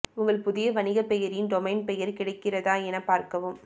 உங்கள் புதிய வணிகப் பெயரின் டொமைன் பெயர் கிடைக்கிறதா எனப் பார்க்கவும்